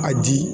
A di